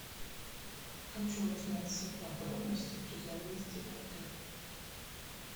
хочу узнать все подробности при заезде в отель